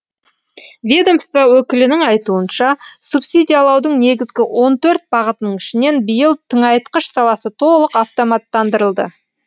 ведомство өкілінің айтуынша субсидиялаудың негізгі он төрт бағытының ішінен биыл тыңайтқыш саласы толық автоматтандырылды